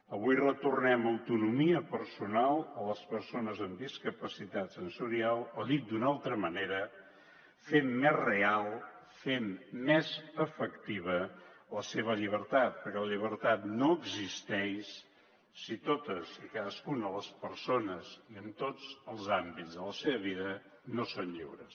avui retornem autonomia personal a les persones amb discapacitat sensorial o dit d’una altra manera fem més real fem més efectiva la seva llibertat perquè la llibertat no existeix si totes i cadascuna de les persones i en tots els àmbits de la seva vida no són lliures